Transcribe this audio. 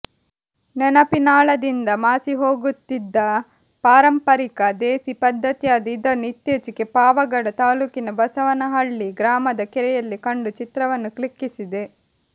ನೆನಪಿನಾಳದಿಂದ ಮಾಸಿಹೋಗುತ್ತಿದ್ದ ಪಾರಂಪರಿಕ ದೇಸಿ ಪದ್ದತಿಯಾದ ಇದನ್ನು ಇತ್ತೀಚೆಗೆ ಪಾವಗಡ ತಾಲ್ಲೂಕಿನ ಬಸವನಹಳ್ಳಿ ಗ್ರಾಮದ ಕೆರೆಯಲ್ಲಿ ಕಂಡು ಚಿತ್ರವನ್ನು ಕ್ಲಿಕ್ಕಿಸಿದೆ